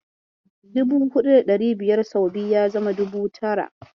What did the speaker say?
Dubu huɗu da ɗari biyar sau biyu, ya zama dubu tara.